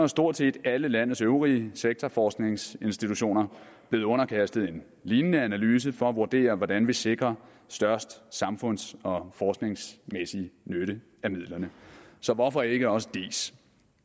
stort set alle landets øvrige sektorforskningsinstitutioner blevet underkastet en lignende analyse for at vurdere hvordan vi sikrer størst samfunds og forskningsmæssig nytte af midlerne så hvorfor ikke også diis